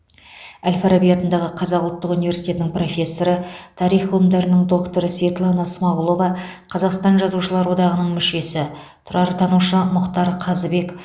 әл фараби атындағы қазақ ұлттық университетінің профессоры тарих ғылымдарының докторы светлана смағұлова қазақстан жазушылар одағының мүшесі тұрартанушы мұхтар қазыбек